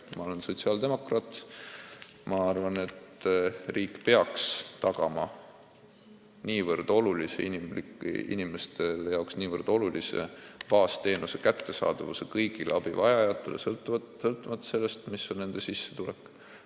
Mina olen sotsiaaldemokraat ja arvan, et riik peaks tagama inimeste jaoks nii olulise baasteenuse kättesaadavuse kõigile abivajajatele, sõltumata sellest, kui suur on nende sissetulek.